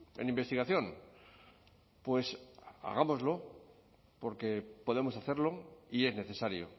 en investigación pues hagámoslo porque podemos hacerlo y es necesario